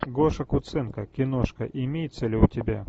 гоша куценко киношка имеется ли у тебя